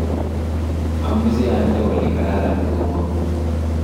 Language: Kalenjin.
amoche ande oli kararan kou amut